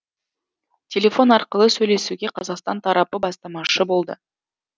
телефон арқылы сөйлесуге қазақстан тарапы бастамашы болды